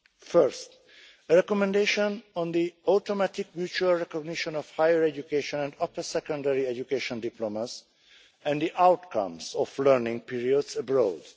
First, a recommendation on the automatic mutual recognition of higher education and upper secondary education diplomas and the outcomes of learning periods abroad.